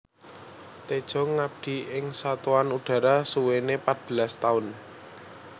Tedjo ngabdi ing Satuan Udara suwene pat belas taun